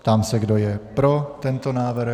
Ptám se, kdo je pro tento návrh.